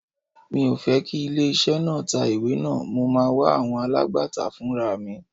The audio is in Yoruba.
Mi ò fẹ́ kí ilé iṣẹ́ náà tá ìwé náà, mo máa wá àwọn alágbàtà fúnraà mi.